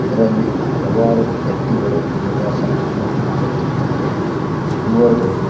ಇದರಲ್ಲಿ ಹಲವಾರು ವ್ಯಕ್ತಿಗಳು ಯೋಗಾಸನ ಮಾಡುತ್ತಿದ್ದಾರೆ ಇವರು--